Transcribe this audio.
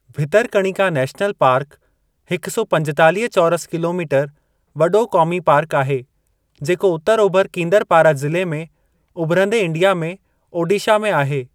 Bhitarkanika national park हिक सौ पंजेतालीह चौरस किलोमीटर वॾो क़ोमी पार्क आहे जेको उतरु ओभर कींदरपारा ज़िले में उभिरंदे इंडिया में ओडीशा में आहे।